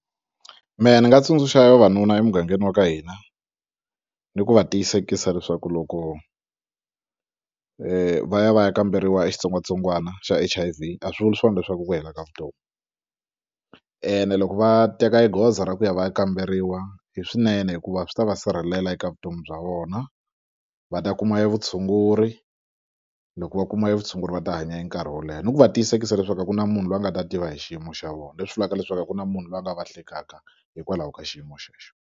Mehe ni nga tsundzuxa vavanuna emugangeni wa ka hina ni ku va tiyisekisa leswaku loko va ya va ya kamberiwa xitsongwatsongwana xa H_I_V a swi vuli swona leswaku i ku hela ka vutomi ene loko va teka e goza ra ku ya va ya kamberiwa i swinene hikuva swi ta va sirhelela eka vutomi bya vona va ta kuma e vutshunguri loko va kuma e vutshunguri va ta hanya e nkarhi wo leha ni ku va tiyisekisa leswaku a ku na munhu loyi a nga ta tiva hi xiyimo xa vona leswi vulaka leswaku a ku na munhu loyi a nga va hlekaka hikwalaho ka xiyimo xexo.